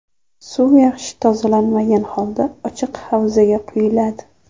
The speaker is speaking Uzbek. Suv yaxshi tozalanmagan holda ochiq havzaga quyiladi.